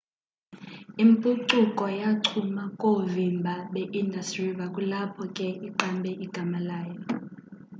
impucuko yachuma koovimba beindus river kulapho ke iqambe igama layo